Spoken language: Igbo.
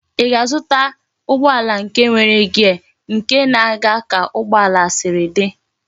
Í ga-azụta ụgbọala nke nwere gear nke na aga ka ugbo ala Siri di?